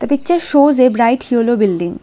The picture shows a bright yellow building.